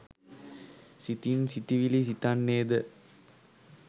සිතින් සිතිවිලි සිතන්නේද